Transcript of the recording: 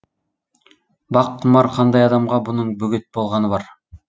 бақ құмар қандай адамға бұның бөгет болғаны бар